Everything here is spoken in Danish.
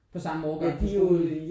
På samme årgang på skolen